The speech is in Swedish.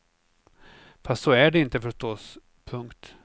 Fast så är det inte förstås. punkt